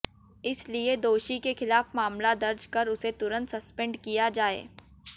इसलिए दोषी के खिलाफ मामला दर्ज कर उसे तुरंत संस्पेंड किया जाए